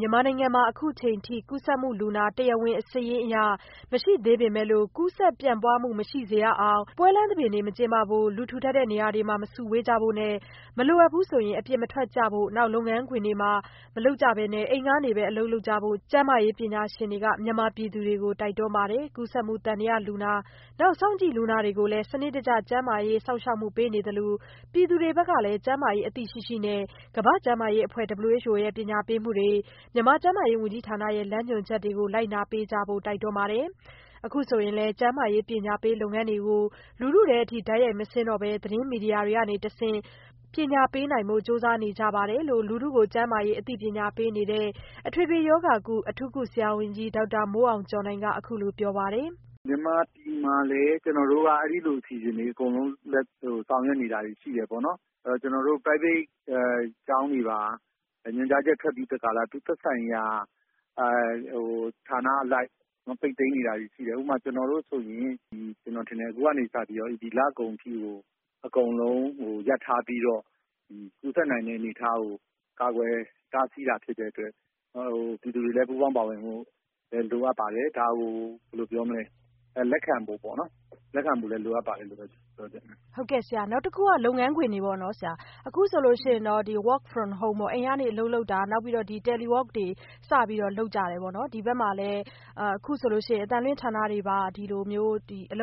မြန်မာနိုင်ငံမှာ အခုအချိန်အထိ ကူးစက်မှုလူနာ တရားဝင်စာရင်းအရ မရှိသေးပေမဲ့လို့ ကူးစက်ပျံ့ပွားမှု မရှိစေရအောင် ပွဲလမ်းသဘင်တွေ မကျင်းပဖို့နဲ့ လူထူထပ်တဲ့ နေရာတွေမှာ မစုဝေးကြဖို့နဲ့ မလိုအပ်ရင် အပြင်မထွက်ကြဖို့ လုပ်ငန်းခွင်တွေမှာ မလုပ်ပဲနဲ့ အိမ်ကနေပဲ အလုပ်လုပ်ကြဖို့ ကျန်းမာရေးပညာရှင်တွေက မြန်မာပြည်သူတွေကို တိုက်တွန်းပါတယ်။ ကူးစက်မှု သံသယလူနာတွေ စောင့်ကြည့် လူနာတွေကိုလည်း စနစ်တကျ ကျန်းမာရေး စောင့်ရှောက် ပေးနေသလို ပြည်သူတွေဘက်ကလည်း ကျန်းမာရေးအသိရှိရှိနဲ့ ကမ္ဘာ့ကျန်းမာရေးအဖွဲ့ ရဲ့ ပညာပေးမှုတွေ ကျန်းမာရေးဝန်ကြီးဌာနရဲ့ လမ်းညွှန်ချက်တွေ လိုက်နာပေးကြဖို့ တိုက်တွန်းပါတယ်။ အခုဆိုရင်လည်း ကျန်းမာရေးပညာပေးလုပ်ငန်းတွေကို လူထုထဲအထိ တိုက်ရိုက်မဆင်းတော့ပဲ သတင်းမီဒီယာတွေကနေတဆင့် ပညာပေးနိုင်ဖို့ ကြိုးစားနေကြပါတယ်လို့ လူထုကို ကျန်းမာရေးအသိပညာပေးနေတဲ့ အထွေအထွေရောဂါကု အထူးကုဆရာဝန်ကြီး ဒေါက်တာမိုးအောင်ကျော်နိုင်ကို မဆုမွန်က ဆက်သွယ်မေးမြန်းထားပါတယ်။ ဒေါက်တာမိုးအောင်ကျော်နိုင်။ ။ မြန်မာပြည်မှာလည်း ကျနော်တို့က အဲလိုအစီအစဉ်တွေ ဆောင်ရွက်နေတာရှိတယ်ပေါ့။ ကျနော်တို့ private ကျောင်းတွေမှာ ညွှန်ကြားချက်ထွက်ပြီး သူ့သက်ဆိုင်ရာ ဌာနအလိုက် ပိတ်သိမ်းနေတာတွေရှိတယ်။ ဥပမာ - ကျနော်တို့ဆိုရင် အခုကနေစပြီးတော့ ဒီလကုန်တဲ့အထိကို အကုန်လုံးရပ်ထားပြီးတော့ ကူးစက်တဲ့အနေအထားကို ကာကွယ်တားဆီးတာဖြစ်တဲ့အတွက် ပြည်သူတွေလည်း ပူးပေါင်းပါဝင်ဖို့ လိုအပ်ပါတယ်။ ဒါကို လက်ခံဖို့လည်း လိုအပ်ပါတယ်လို့ ပြောချင်ပါတယ်။ မဆုမွန်။ ။ နောက်တခုက လုပ်ငန်းခွင်တွေပေါ့နော် အခုဆိုရင် Work from home အိမ်ကနေပြီးတော့ အလုပ်လုပ်တာ နောက်ပြီးတော့ Telework တွေ စပြီးတော့ လုပ်ကြတယ်ပေါ့နော်။ ဒီဘက်မှာလည်း အခုဆိုရင် အသံလွှင့်ဌာနတွေပါ စပြီးတော့ လုပ်ပြီ။ မြန်